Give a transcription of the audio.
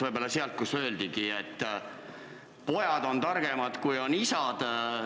Lähtuks nendest sõnadest, et pojad on targemad kui isad.